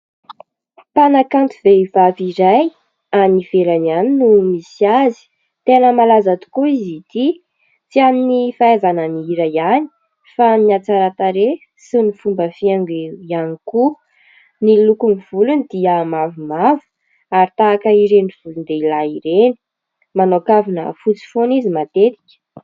Mpanakanto vehivavy iray any ivelany any no misy azy, tena malaza tokoa izy ity tsy an'ny fahaizana mihira ihany, fa amin'ny hatsaran-tarehy sy ny fomba fihaingo ihany koa, ny lokon'ny volony dia mavomavo ary tahaka ireny volon-dehilahy ireny, manao kavina fotsy foana izy matetika.